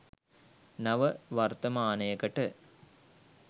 නව වර්තමානයකට